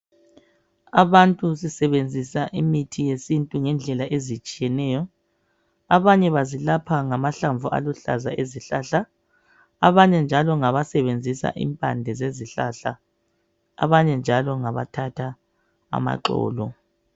Abantu sisebenzisa imithi yesintu ngendlela ezitshiyeneyo, abanye bazilapha ngamahlamvu aluhlaza ezihlahla, abanye njalo ngabasebenzisa impande zezihlahla abanye njalo ngabathatha amaxolo